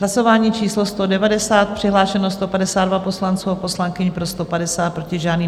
Hlasování číslo 190, přihlášeno 152 poslanců a poslankyň, pro 150, proti žádný.